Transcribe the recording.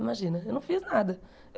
Imagina, eu não fiz nada.